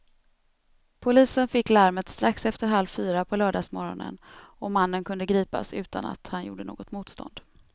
Polisen fick larmet strax efter halv fyra på lördagsmorgonen och mannen kunde gripas utan att han gjorde något motstånd.